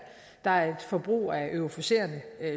der er et forbrug af euforiserende